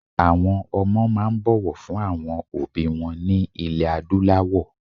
Àwọn ọmọ máa ń bọ̀wọ̀ fún àwọn òbí wọn ní ilẹ̀ Adúláwọ̀